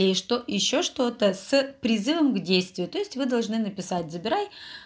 что ещё что-то с призывом к действию то есть вы должны написать забирай